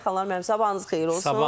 Xanlar müəllim, sabahınız xeyir olsun.